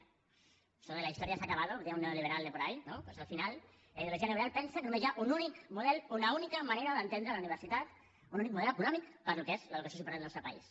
això de la historia se ha acabado ho deia un neoliberal de por ahí no doncs al final la ideologia neoliberal pensa que només hi ha un únic model una única manera d’entendre la universitat un únic model econòmic per al que és l’educació superior del nostre país